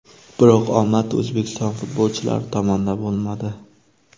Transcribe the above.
Biroq omad O‘zbekiston futbolchilari tomonda bo‘lmadi.